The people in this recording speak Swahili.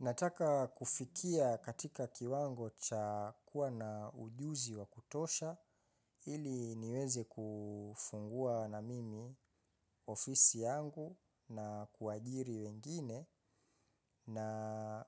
Nataka kufikia katika kiwango cha kuwa na ujuzi wa kutosha ili niweze kufungua na mimi ofisi yangu na kuwajiri wengine na